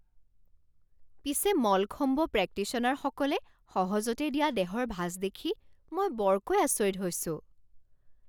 পিছে মলখম্ব প্ৰেক্টিশ্যনাৰসকলে সহজতে দিয়া দেহৰ ভাঁজ দেখি মই বৰকৈ আচৰিত হৈছোঁ!